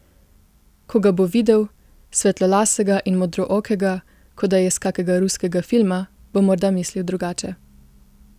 Ko ga bo videl, svetlolasega in modrookega, kot da je iz kakega ruskega filma, bo morda mislil drugače.